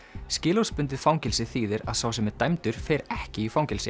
skilorðsbundið fangelsi þýðir að sá sem er dæmdur fer ekki í fangelsi